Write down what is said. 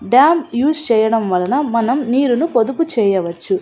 Dam use చెయ్యడం వల్లన మనం నీళ్లు పొదుపు చెయ్యవచ్చు.